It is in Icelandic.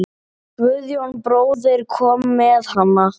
Guðjón bróðir kom með hana.